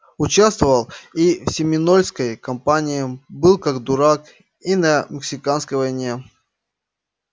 участвовал и в семинольской кампании был как дурак и на мексиканской войне